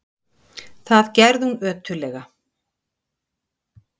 Það gerði hún ötullega.